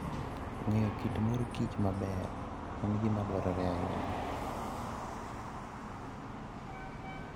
Ng'eyo kit mor kich maber en gima dwarore ahinya.